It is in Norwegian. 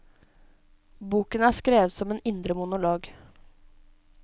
Boken er skrevet som en indre monolog.